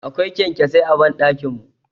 Akwai Ƙyamƙyasai a banɗakin mu.